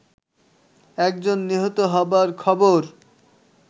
একজন নিহত হবার খবর